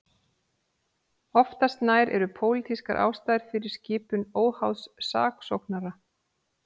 Oftast nær eru pólitískar ástæður fyrir skipun óháðs saksóknara.